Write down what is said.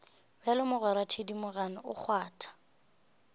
bjalo mogwera thedimogane o kgwatha